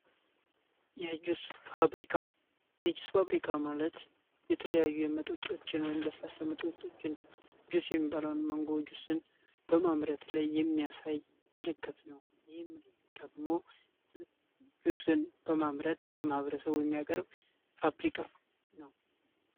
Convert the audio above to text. የጁስ ፋብሪካ ማለት የተለያዩ የመጠጦችን ወይም ለስላሰመጠችን ጁስ የሚባላውን ማንጎ ጁስን በማምረት ላይ የሚያሳይ ምልክት ነው ይህም ደግሞ ጁስን በማምረት ለማህበረሰቡ የሚያቀርብ ፋብሪካ ነው።